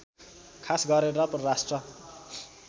खास गरेर परराष्ट्र